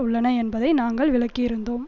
உள்ளன என்பதை நாங்கள் விளக்கியிருந்தோம்